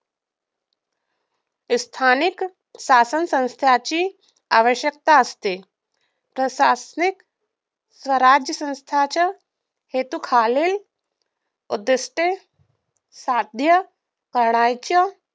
स्थानिक शासनसंस्थेची आवश्यकता असते प्रशासनिक स्वराज्यसंस्थेच्या हेतू खालील उद्दिष्टे साध्य